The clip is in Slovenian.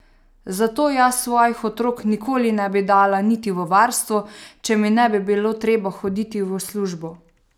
Zato jaz svojih otrok nikoli ne bi dala niti v varstvo, če mi ne bi bilo treba hoditi v službo!